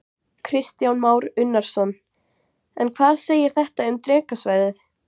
Kristján Már Unnarsson: En hvað segir þetta um Drekasvæðið?